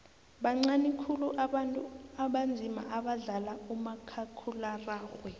bancani khulu abantu abanzima abadlala umakhakhulararhwe